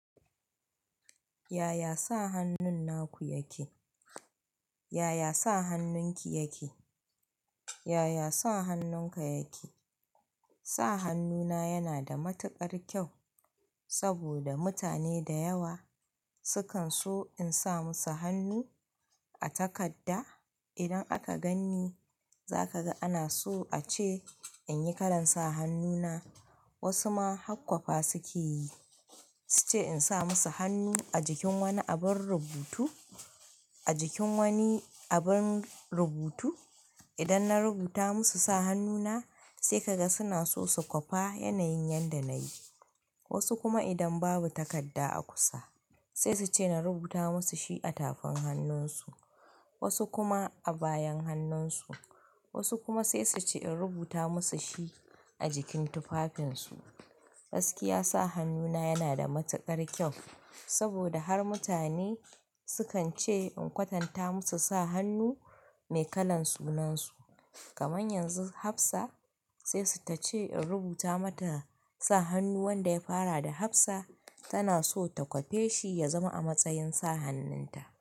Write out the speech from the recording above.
Yaya sa hannun naku yake? Yaya sa hannunki yake? Yaya sa hannunka yake? Sa hannuna yana da matuƙar kyau saboda mutane da yawa sukan so in sa musu hannu a takadda. Idan aka ganni, za ka ga ana so a ce in yi kalan sa hannuna. Wasu ma hakkwafa suke yi, su ce in sa musu hannu a jikin wani abun rubutu, a jikin wani abun rubutu. Idan na rubuta musu sa hannuna sai ka ga suna so su kwafa yanayin yadda na yi. Wasu kuma idan babu takadda a kusa sai su ce na rubuta musu shi a tafin hannunsu, wasu kuma a bayan hannunsu, wasu kuma sai su ce in rubuta musu shi a jikin tufafinsu. Gaskiya, sa hannuna yana da matuƙar kyau saboda har mutane sukan ce in kwatanta musu sa hannu mai kalan sunansu. Kaman yanzu Hafsa sai su ta ce in rubuta mata sa hannun wanda ya fara da Hafsa tana so ta kwafe shi ya zama a matsayin sa hannunta.